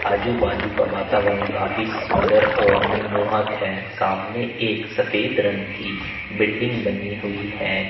आजू बाजू का वातावरण काफी सुंदर और मनमोहक है सामने एक सफेद रंग की बिल्डिंग बनी हुई है।